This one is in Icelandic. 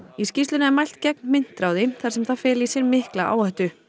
í skýrslunni er mælt gegn myntráði þar sem það feli í sér mikla áhættu